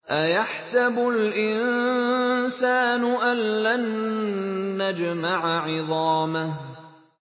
أَيَحْسَبُ الْإِنسَانُ أَلَّن نَّجْمَعَ عِظَامَهُ